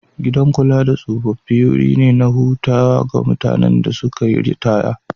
Gidan kula da tsofaffi wuri ne na hutu ga mutanen da suka yi ritaya.